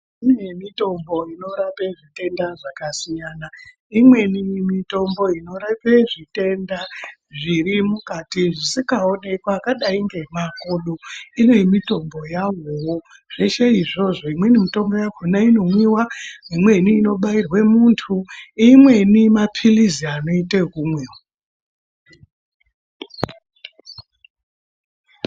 Kune mitombo inorape zvitenda zvakasiyana , imweni mitombo inorape zvitenda zviri mukati zvisingaonekwi akadai ngemakodo, ine mitombo yawowo, zveshe izvozvo imweni mitombo yakona inomwiwaa, imweni inobairwee muntu mweni, mapilizi anoite ekunwiwaa.